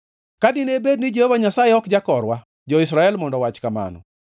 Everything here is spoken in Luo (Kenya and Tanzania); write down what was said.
Ka dine bed ni Jehova Nyasaye ok jakorwa, jo-Israel mondo owach kamano,